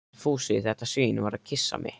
Fúsi, þetta svín, var að kyssa mig.